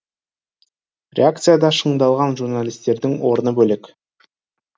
реакцияда шыңдалған журналистердің орны бөлек